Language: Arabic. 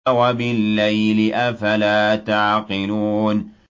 وَبِاللَّيْلِ ۗ أَفَلَا تَعْقِلُونَ